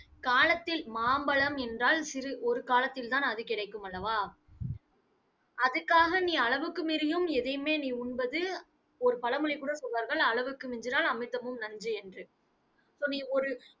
காலத்தில் மாம்பழம் என்றால், சிறு ஒரு காலத்தில்தான் அது கிடைக்கும் அல்லவா? அதுக்காக நீ அளவுக்கு மீறியும் எதையுமே நீ உண்பது, ஒரு பழமொழி கூட சொல்லுவார்கள், அளவுக்கு மிஞ்சினால் அமிர்தமும் நஞ்சு என்று